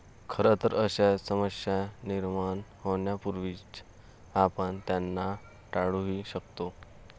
खरंतर, अशा समस्या निर्माण होण्यापूर्वीच आपण त्यांना टाळूही शकतो.